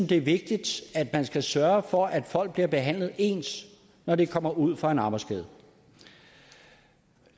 det er vigtigt at man sørger for at folk bliver behandlet ens når de kommer ud for en arbejdsskade